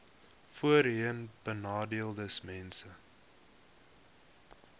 voorheenbenadeeldesmense